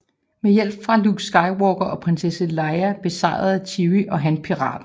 Med hjælp fra Luke Skywalker og Prinsesse Leia besejrede Chewie og Han piraten